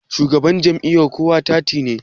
shugaban Jam'iyya kowa fati ne